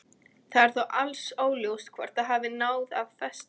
Það er þó alls óljóst hvort það hafi náð að festast.